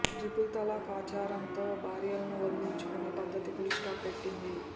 triple talaq ఆచారంతో భార్యలను వదిలించుకునే పద్దతికి ఫుల్ స్టాప్ పెట్టింది